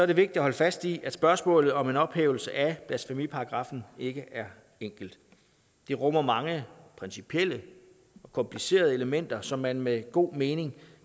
det vigtigt at holde fast i at spørgsmålet om en ophævelse af blasfemiparagraffen ikke er enkelt det rummer mange principielle og komplicerede elementer som man med god mening